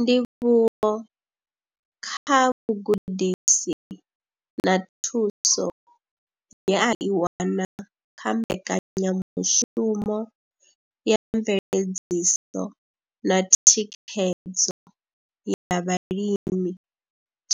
Ndivhuwo kha vhugudisi na thuso ye a i wana kha mbekanyamushumo ya mveledziso na thikhedzo ya vhalimi